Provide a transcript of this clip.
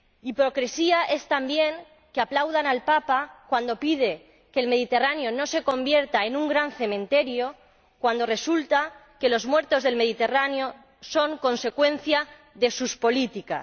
Hipocresía es, también, que aplaudan al Papa cuando pide que el Mediterráneo no se convierta en un gran cementerio cuando resulta que los muertos del Mediterráneo son consecuencia de sus políticas.